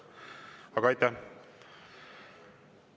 Aga aitäh!